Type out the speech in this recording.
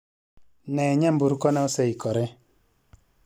Nee nyamburko na oseikore